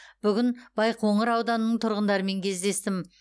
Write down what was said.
бүгін байқоңыр ауданының тұрғындарымен кездестім